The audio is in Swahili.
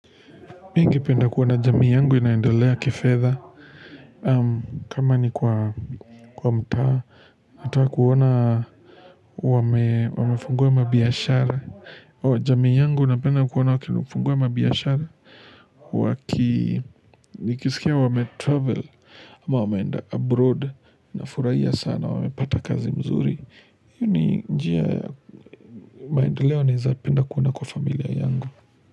Mim ninpenda kuona jamii yangu inaendelea kifedha. Kama ni kwa mtaa, natakaa kuona wamefungua mabiashara. O, jamii yangu ina penda kuona wakinifungua mabiashara. Waki, nikisikia wame travel, ama wameenda abroad, na furahia sana wamepata kazi mzuri. Mimi njia ya maendeleo naweza penda kuona kwa familia yangu.